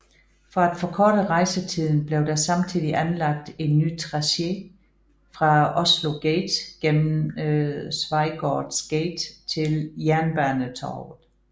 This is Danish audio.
For at forkorte rejsetiden blev der samtidig anlagt en ny tracé fra Oslo gate gennem Schweigaaards gate til Jernbanetorget